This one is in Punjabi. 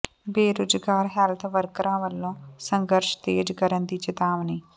ਬੇਰੁਜ਼ਗਾਰ ਹੈਲਥ ਵਰਕਰਾਂ ਵੱਲੋਂ ਸੰਘਰਸ਼ ਤੇਜ਼ ਕਰਨ ਦੀ ਚੇਤਾਵਨੀ